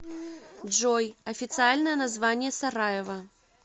джой официальное название сараево